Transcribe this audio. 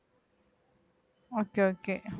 okay okay